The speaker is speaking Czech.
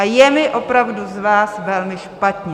A je mi opravdu z vás velmi špatně.